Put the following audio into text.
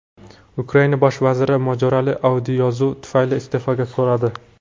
Ukraina bosh vaziri mojaroli audioyozuv tufayli iste’fo so‘radi.